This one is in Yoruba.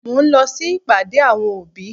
Mo ń lọ sí ìpàdé àwọn òbí.